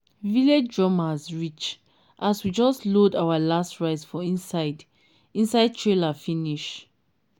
village drummers reach as we just load our last rice for inside inside trailer finish.